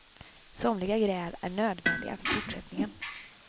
Somliga gräl är nödvändiga för fortsättningen.